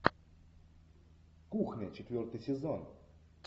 кухня четвертый сезон